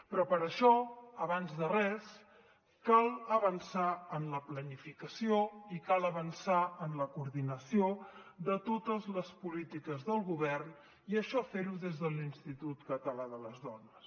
però per això abans de res cal avançar en la planificació i cal avançar en la coordinació de totes les polítiques del govern i això fer ho des de l’institut català de les dones